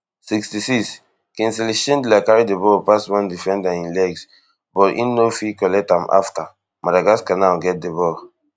sixty-sixkingsley shindler carry di ball pass one defender in legs but im no no fit collect am afta madagascar now get di ball